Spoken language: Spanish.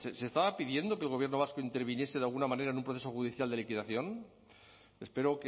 se estaba pidiendo que el gobierno vasco interviniese de alguna manera en un proceso judicial de liquidación espero